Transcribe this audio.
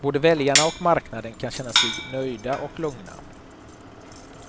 Både väljarna och marknaden kan känna sig nöjda och lugna.